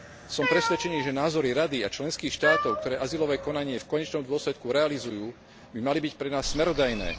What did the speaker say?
Som presvedčený, že názory Rady a členských štátov, ktoré azylové konanie v konečnom dôsledku realizujú, by mali byť pre nás smerodajné.